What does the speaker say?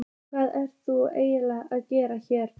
Hvað ert þú eiginlega að gera hér?